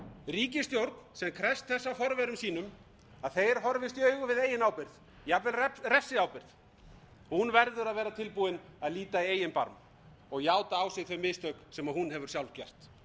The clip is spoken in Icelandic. ríkisstjórn sem krefst þess af forverum sínum að þeir horfist í augu við eigin ábyrgð jafnvel refsiábyrgð verður að vera tilbúin að líta í eigin barm og játa á sig þau mistök sem hún hefur sjálf gert þegar